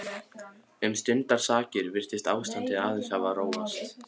Um stundarsakir virtist ástandið aðeins hafa róast.